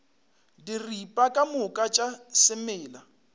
diripa ka moka tša semela